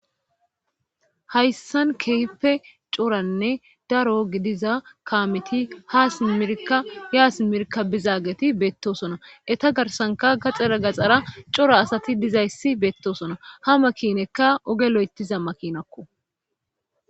hayssan keehpe coranne daro gidiza kaameti haa smirka yaas mirka bizaageti beettosona eta garsanka gaxxera gaxara cora asati dizayssi beettosona ha makinekka oge lo7etiza makinakko